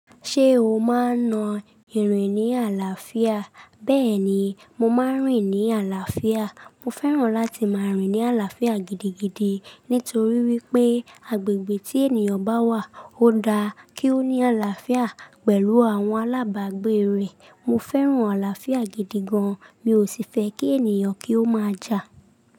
Ṣé o máa ń na ìrìn ní àlàáfíà? Bẹ́ẹ̀ni, mo máa ń rìn ní àlàáfíà. Mo fẹ́ràn láti máa rìn ní àlàáfíà gidigidi, nítorí wípé agbègbè tí ènìyàn bá wà ó da kí ó ní àlàáfíà pẹ̀lú àwọn alábàágbé rẹ̀. Mo fẹ́ràn àlàáfíà gidi gan an. Mi ò sì fẹ́ kí ènìyàn kí ó máa jà.